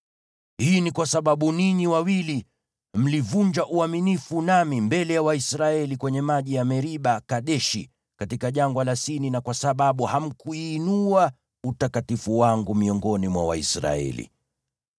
Hii ni kwa sababu ninyi wawili mlivunja uaminifu nami mbele ya Waisraeli kwenye maji ya Meriba-Kadeshi katika Jangwa la Sini, na kwa sababu hamkuuinua utakatifu wangu miongoni mwa Waisraeli.